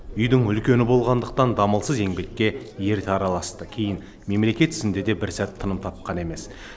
үйдің үлкені болғандықтан дамылсыз еңбекке ерте араласты кейін мемлекет ісінде де бір сәт тыным тапқан емес